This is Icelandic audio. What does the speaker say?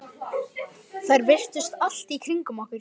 Þær virtust allt í kringum okkur.